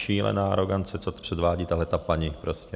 Šílená arogance, co předvádí tahleta paní prostě.